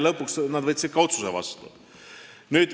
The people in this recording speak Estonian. Lõpuks nad võtsid ka otsuse vastu.